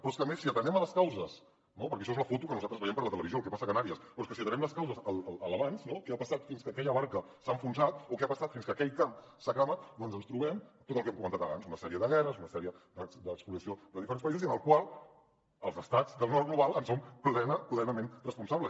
però és que a més si atenem a les causes no perquè això és la foto que nosaltres veiem per la televisió el que passa a canàries però és que si atenem les causes a l’abans a què ha passat fins que aquella barca s’ha enfonsat o què ha passat fins que aquell camp s’ha cremat doncs ens trobem tot el que hem comentat abans una sèrie de guerres una sèrie d’espoliació de diferents països i de les quals els estats del nord global en som plenament responsables